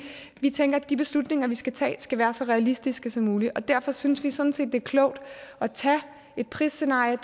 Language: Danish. vi tænker at de beslutninger vi skal tage skal være så realistiske som muligt derfor synes vi sådan set er klogt at tage et prisscenarie